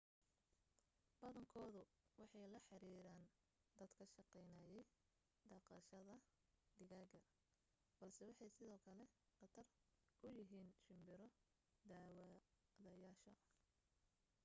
badankoodu waxay la xiriireen dad ka shaqaynayay dhaqashada digaaga balse waxay sidoo kale khatar ku yihiin shimbiro daawadayaasha